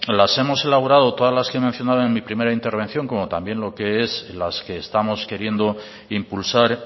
las hemos elaborado todas las que he mencionado en mi primera intervención como también las que estamos queriendo impulsar